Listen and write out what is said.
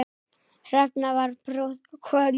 Hrefna var prúð kona.